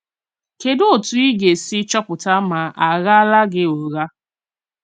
Kédù òtù ì gà-èsì chọ́pụ̀tà mà a ghààlà gị ùghà?